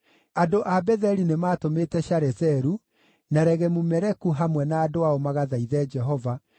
Andũ a Betheli nĩmatũmĩte Sharezeru na Regemu-Meleku hamwe na andũ ao magathaithe Jehova